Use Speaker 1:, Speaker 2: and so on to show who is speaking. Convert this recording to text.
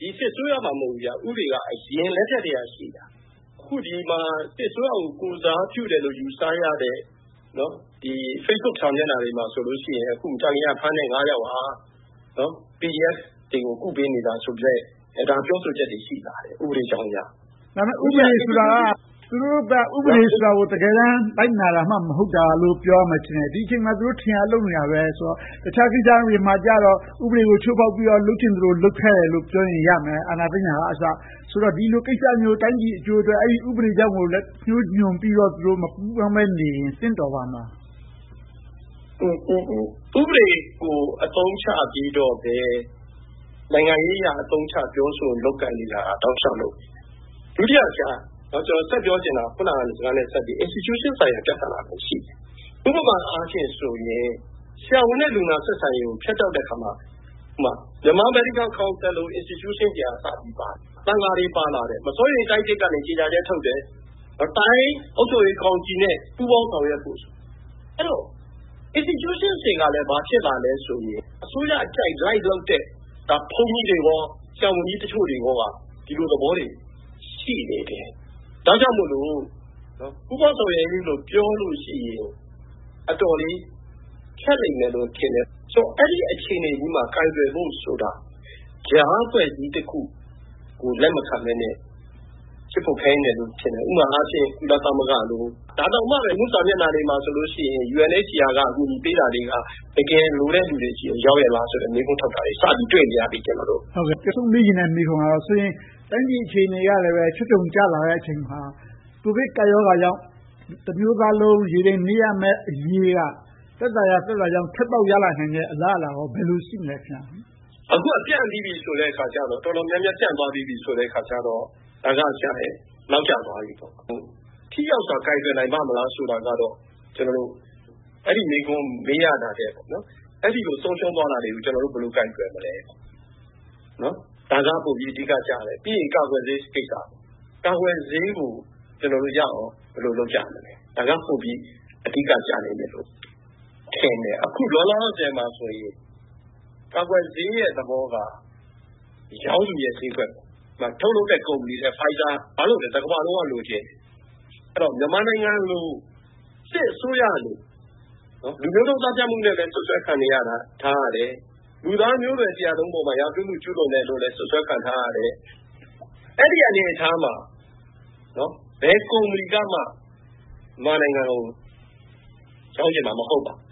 Speaker 1: ဒီစစ်အစိုးရမှ မဟုတ်ဘူး။ ဥပဒေက အရင်အစိုးရလက်ထက်မှာကတည်းက ရှိတာ။ အခု ဒီမှာ စစ်အစိုးရကို ကိုယ်စားပြုတယ်လို့ ယူဆရတဲ့ Facebook စာမျက်နှာတွေမှာဆိုရင် သံသယနဲ့ဖမ်းတဲ့ ယောက်ဟာ PDF တွေကို ကုပေးနေတာဆိုတဲ့ ပြောဆိုချက်တွေ ရှိလာတယ်။ ဥပဒေအကြောင်းအရ။
Speaker 2: ဒါပေမဲ့ ဥပဒေဆိုတာက သူတို့ဘက်က ဥပဒေကို တကယ်တမ်း လိုက်နာတာမှ မဟုတ်တာလို့ ပြောရမယ်ထင်တယ်။ ဒီအချိန်မှာ သူတို့ ထင်ရာလုပ်နေတာပဲဆိုတော့ တခြားကိစ္စတွေမှာကြတော့ ဥပဒေကို ချိုးဖောက်ပြီးတော့ လုပ်ချင်သလို လုပ်ခဲ့ကြတယ်လို့ ပြောရင်ရမယ်။ အာဏာသိမ်းတာကအစ။ ဆိုတော့ ဒီလိုကိစ္စမျိုး၊ တိုင်းပြည်အကျိုးအတွက် အဲဒီဥပဒေတွေကို လက်ညှိုးညွှန်ပြီးတော့ သူတို့မပူးပေါင်းနေရင် သင့်တော်ပါ့မလား။
Speaker 1: ဥပဒေကို အသုံးချပြီးတော့ပဲ နိုင်ငံရေးအရ အသုံးချလုပ်ကိုင်နေတာ တလျှောက်လုံးပဲ။ ဒုတိယ အခုနစကားနဲ့ ဆက်ပြီးတော့ ကျနော်ဆက်ပြောချင်တာက Institution ဆိုင်ရာ ပြဿနာလည်း ရှိနေတယ်။ ဥပမာအားဖြင့်ဆိုရင် ဆရာဝန်နဲ့ လူနာ ဆက်ဆံရေးကို ဖြတ်တောက်တဲ့အခါမှာ Myanmar Medical Council လို Institution တွေ ပါလာတယ်။ သံဃာတွေ ပါလာတယ်။ မစိုးရိမ်တိုက်သစ်ကနေ ကြေညာချက် ထုတ်တယ်။ တိုင်းအုပ်ချုပ်ရေးကောင်စီနဲ့ ပူးပေါင်းဆောင်ရွက်ဖို့။ အဲဒီတော့ Institution တွေက ဘာဖြစ်လာလဲဆိုရင် အစိုးရအကြိုက် လိုက်လုပ်တဲ့ ဘုန်းကြီးတွေနဲ့ ဆရာဝန်ကြီးတချို့က ဒီလိုသဘောတွေ ရှိနေတယ်။ ဒါကြောင့်မို့ ပူးပေါင်းဆောင်ရွက်ရေးလို့ ပြောလို့ရှိရင် အတော်လေး ခက်လိမ့်မယ်လို့ ထင်တယ်။ အဲဒီလိုမျိုး အခြေအနေမှာ ကိုင်တွယ်ဖို့ဆိုတာ ကြားအဖွဲ့အစည်းတခုကို လက်မခံဘဲနဲ့ ဖြစ်ဖို့ခဲယဉ်းတယ်လို့ ထင်တယ်။ ဥပမာအားဖြင့် ကုလသမဂ္ဂလို။ ဒါတောင်မှ လူမှုစာမျက်နှာတွေမှာ UNHCR ကနေ အကူအညီပေးတာတွေက တကယ်လိုတဲ့ လူတွေဆီကို ရောက်ရဲ့လားဆိုတဲ့ မေးခွန်းထောက်တာတွေကို စပြီးတော့ တွေ့နေရပြီ။ နောက်
Speaker 2: ဆုံးမေးချင်တဲ့ မေးခွန်းကတော့ တိုင်းပြည်အခြေအနေက ချွတ်ခြုံကျလာတဲ့ အခြေအနေမှာ ကိုဗစ်ကပ်ရောဂါကြောင့် တမျိုးသားလုံး ရေတိမ်နစ်ရမယ့်အရေးက သက်သာရာသက်သာကြောင်း ထွက်ပေါက်ရလာနိုင်မယ့် အလားအလာက ဘယ်လိုရှိမလဲ
Speaker 1: ။ အခုက ရောဂါက ပြန့်ပြီးပြီဆိုတော့ တော်တော်များများ ပြန့်ပြီးပြီဆိုတော့ ဒါက နောက်ကျသွားပြီ။ ထိရောက်စွာ ကိုင်တွယ်နိုင်ပါ့မလားဆိုတာကတော့ အဲဒီမေးခွန်း မေးရတာထက်၊ အဲဒီလို ဆုံးရှုံးသွားတာတွေကို ကျနော်တို့ ဘယ်လိုကိုင်တွယ်မလဲ။ ဒါက ပိုပြီးအဓိကကျတယ်။ ပြီးရင် ကာကွယ်ဆေးကိစ္စ။ ကာကွယ်ဆေးကိုရအောင် ကျနော်တို့ ဘယ်လိုလုပ်ကြမလဲ။ ဒါက ပိုပြီးအဓိကကျလိမ့်မယ်လို့ ထင်တယ်။ အခုလောလောဆယ်မှာတော့ ကာကွယ်ဆေးရဲ့သဘောကတော့ ရောင်းသူရဲ့ ဈေးကွက်။ ထုတ်လုပ်တဲ့ ကုမ္ပဏီတွေက Pfizer ဆိုရင် တကမ္ဘာလုံးက လိုချင်ကြတယ်။ မြန်မာနိုင်ငံလို၊ စစ်အစိုးရလို လူမျိုးတုန်းသတ်ဖြတ်မှုနဲ့ စွပ်စွဲခံနေရတာ၊ လူသားမျိုးနွယ်တရပ်လုံးပေါ် ရာဇဝတ်မှု ကျူးလွန်တယ်လို့လဲ စွပ်စွဲခံထားရတယ်။ အဲဒီလို အနေအထားမှာ ဘယ်ကုမ္ပဏီကမှ မြန်မာနိုင်ငံကို ရောင်းချင်မှာ မဟုတ်ပါဘူး